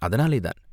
அதனாலே தான்!